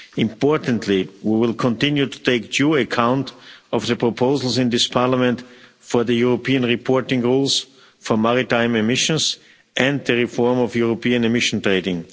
Importantly, we will continue to take due account of the proposals in this Parliament for the European reporting rules for maritime emissions and the reform of European emission trading.